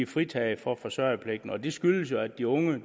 fritaget for forsørgerpligten og det skyldes jo at de unge